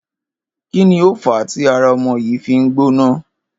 Kí ni ó fàá tí ara o̩mo̩ yìí fi ń gbóná?